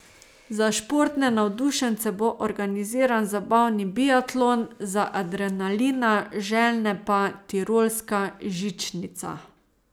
Za športne navdušence bo organiziran zabavni biatlon, za adrenalina željne pa tirolska žičnica.